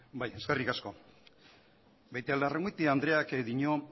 bai eskerrik asko beitialarrangoitia andreak dio